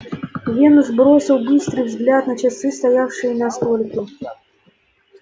венус бросил быстрый взгляд на часы стоявшие на столике